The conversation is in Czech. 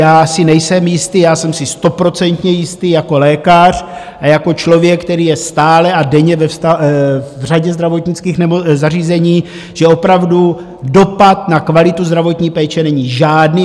Já si nejsem jistý, já jsem si stoprocentně jistý jako lékař a jako člověk, který je stále a denně ve řadě zdravotnických zařízení, že opravdu dopad na kvalitu zdravotní péče není žádný.